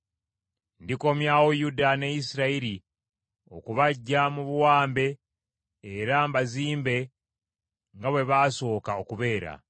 Ndikomyawo Yuda ne Isirayiri okubaggya mu buwambe era mbazimbe nga bwe baasooka okubeera.